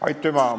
Aitüma!